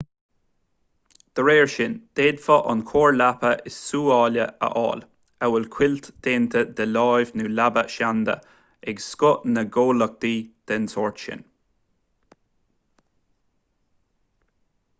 dá réir sin d'fhéadfá an chóir leapa is sóúla a fháil amhail cuilt déanta de láimh nó leaba sheanda ag scoth na ngnólachtaí den sórt sin